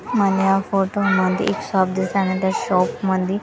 मला या फोटोमध्ये एक शॉप दिसत आहे आणि त्या शॉप मध्ये प --